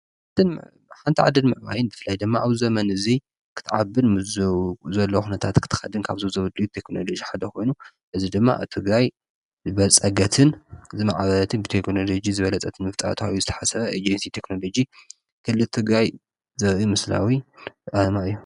እትን ሓንቲ ዓደድ ምዕባይን ብፍላይ ደማኣብ ዘመን እዙይ ኽትዓብል ዝ ዘለኹነታት ኽተኸድን ካብዘዘብድዩ ተክኖሎዙ ሓደኾይኑ እዝ ድማ እቲጋይ በጸገትን ዝመዓበትን ብተክኖሎጅ ዝበለጸትን ምፍጣት ዩ ዝተሓሰበ እጌንቲ ተክኖሎጅ ክልቱ ጋይ ዘብኡ ምስላዊ ኣማ እዮም።